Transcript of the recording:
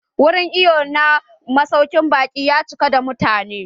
Wurin iwon na masaukin baƙi ya cika da mutane.